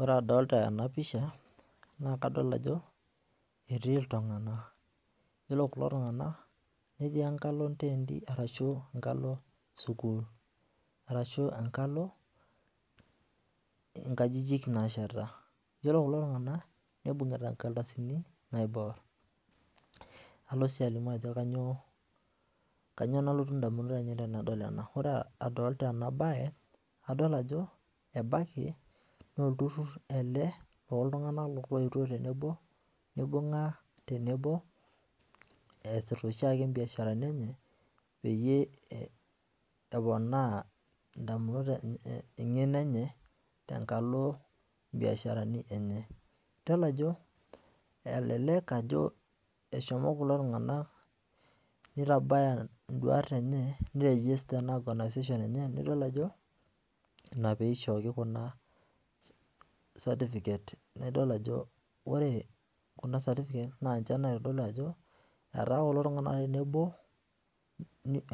Ore adolita ena pisha nakadol ajo etii iltung'anak, iyiolo kulo tung'anak netii enkalo onteenti arashu enkalo inkajijik naasheta. Iyiolo kulo tung'anak nibung'ita inkardasini naiborr. Alo sii alimu ajo kanyoo nalotu indamunot ainei tenadol ena. Ore adolita ena bae, adol ajo ebaiki naa olturrurr ele looltung'ana loetwo tenebo nibung'a tenebo eesita oshiake imbiasharani enye peyie eponaa indamunot, eng'eno enye tenkalo imbiasharani enye. Idol ajo elelek ajo eshomo kulo tung'anak nitabaya ndwaat enye niregista naa ena organization enye nidol naa ajo ina piishooki kuna certificates. Naidol ajo ore kuna certificates ninche naitodolu ajo etaa kulo tung'anak tenebo